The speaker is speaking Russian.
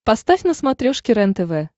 поставь на смотрешке рентв